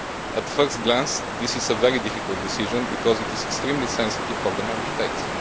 At first glance this is a very difficult decision, because it is extremely sensitive for the Member States.